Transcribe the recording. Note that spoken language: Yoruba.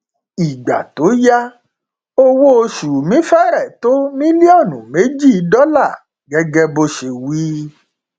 ìgbà tó yá owóoṣù mi fẹrẹ tó mílíọnù méjì dọlà gẹgẹ bó ṣe wí